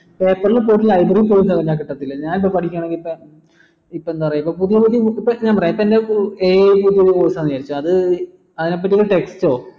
paper പോയിട്ട് library പോയ് തിരഞ്ഞാൽ കിട്ടത്തില ഞാനിപ്പോ പഠിക്കണത് ഇപ്പൊ എന്താ ഇപ്പൊ പറയാ പുതിയ പുതിയ ഇപ്പോ ഞാൻ പറയാം ഇപ്പൊ എന്റെ AI course അന്ന് വിചാരിച്ചോ അതിനെ പറ്റി